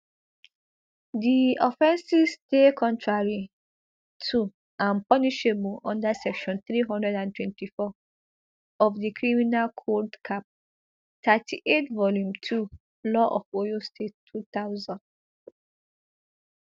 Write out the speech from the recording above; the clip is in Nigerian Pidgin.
di offences dey contrary to and punishable under section three hundred and twenty-four of di criminal code cap thirty-eight volume two law of oyo state two thousand